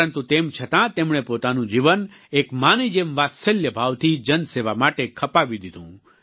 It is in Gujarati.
પરંતુ તેમ છતાં તેમણે પોતાનું જીવન એક માં ની જેમ વાત્સલ્ય ભાવથી જનસેવા માટે ખપાવી દીધું